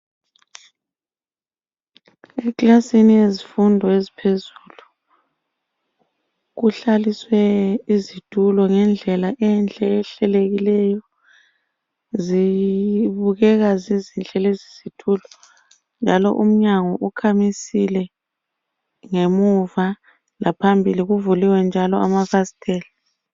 Eklasini yezifundo eziphezulu kuhlaliswe izitulo ngendlela enhle ehlelekileyo. Zibukeka zizinhle lezi izitulo njalo umnyango ukhamisile ngemuva laphambili kuvuliwe njalo amafasitela.